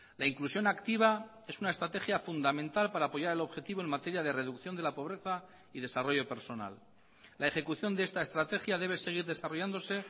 la inclusión activa es una estrategia fundamental para apoyar el objetivo en materia de reducción de la pobreza y desarrollo personal la ejecución de esta estrategia debe seguir desarrollándose